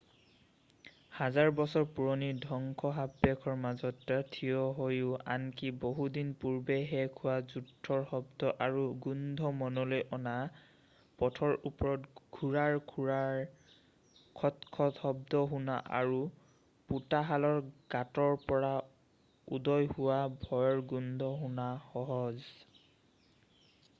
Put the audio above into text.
হাজাৰ বছৰ পুৰণি ধ্বংসাবশেষৰ মাজত থিয় হৈও আনকি বহুদিন পূৰ্বেই শেষ হোৱা যুদ্ধৰ শব্দ আৰু গোন্ধ মনলৈ অনা পথৰ ওপৰত ঘোঁৰাৰ খুৰাৰ খটখট শব্দ শুনা আৰু পোতাশালৰ গাঁতৰ পৰা উদয় হোৱা ভয়ৰ গোন্ধ শুনা সহজ